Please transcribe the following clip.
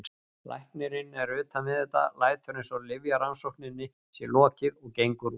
Læknirinn er utan við þetta, lætur eins og lyfjarannsókninni sé lokið og gengur út.